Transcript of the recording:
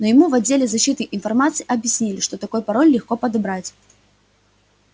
но ему в отделе защиты информации объяснили что такой пароль легко подобрать